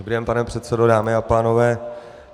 Dobrý den, pane předsedo, dámy a pánové.